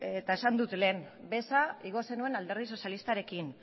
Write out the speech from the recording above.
eta esan dut lehen beza igo zenuen alderdi sozialistarekin